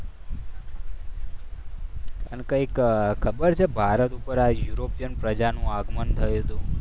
અને કંઈક ખબર છે? ભારત પર યુરોપિયન પ્રજાનું આગમન થયું હતું.